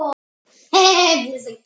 Kanntu að blóta svona mikið?